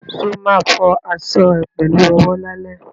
Ṣo ma fọ aṣọ ẹ pẹ̀lú owó lálẹ́?